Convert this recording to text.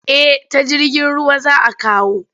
Eh ta jirgin ruwa za a kawo.